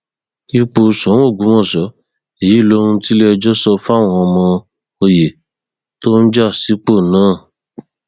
ipò sóun ọgbọmọṣẹ èyí lohun tiléẹjọ sọ fáwọn ọmọ òye tó ń já sípò náà